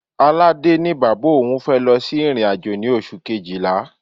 Aládé ní bàbá òun fẹ́ lọ sí ìrìn-àjò ní oṣù Kejìlá.